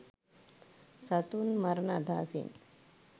සතුන් මරණ අදහසින්